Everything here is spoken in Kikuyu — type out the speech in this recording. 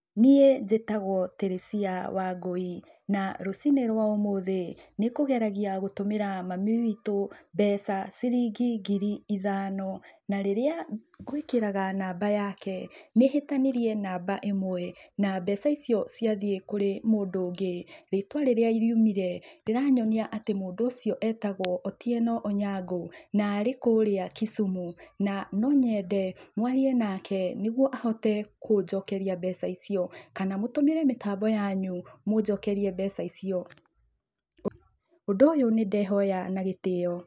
Niĩ njĩtagwo Teresia Wangũi, na rũcinĩ rũa ũmũthĩ, nĩngũgeragia gũtũmĩra mami witũ mbeca ciringi ngiri ithano, na rĩrĩa ngũĩkĩraga namba yake, nĩhĩtanirie namba ĩmwe na mbeca icio ciathiĩ kũrĩ mũndũ ũngĩ. Rĩtwa rĩrĩa rĩumire, rĩranyonia atĩ mũndũ ũcio etagwo Otieno Onyango, na arĩ kũrĩa Kisumu. Na nonyende mwarie nake, nĩguo ahote kũnjokeria mbeca icio. Kana mũtũmĩre mĩtambo yanyu, mũnjokerie mbeca icio. Ũndũ ũyũ nĩndehoya nagĩtĩo.